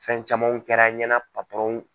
Fɛn camanw kɛra n ɲana